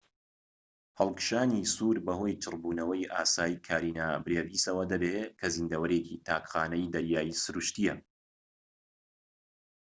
هەڵکشانی سوور بەهۆی چڕبوونەوەی ئاسایی کارینا برێڤیسەوە دەبێت کە زیندەوەرێکی تاک خانەی دەریایی سروشتییە